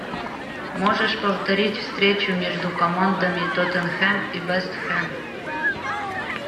можешь повторить встречу между командами тоттенхэм и вест хэм